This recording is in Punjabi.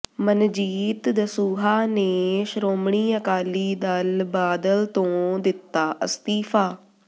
ਮਨਜੀਤ ਦਸੂਹਾ ਨੇ ਸ਼੍ਰੋਮਣੀ ਅਕਾਲੀ ਦਲ ਬਾਦਲ ਤੋਂ ਦਿੱਤਾ ਅਸਤੀਫ਼ਾ